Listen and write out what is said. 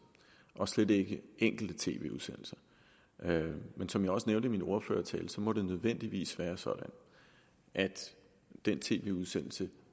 og slet ikke enkelte tv udsendelser men som jeg også nævnte i min ordførertale må det nødvendigvis være sådan at den tv udsendelse